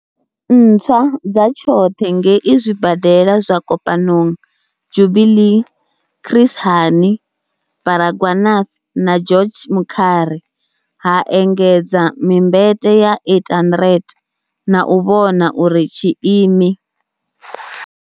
Ntswa dza tshoṱhe ngei zwibadela zwa Kopanong, Jubilee, Chris Hani Baragwanath na George Mukhari, ha engedza mimbete ya 800, na u vhona uri tshiimi.